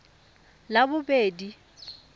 labobedi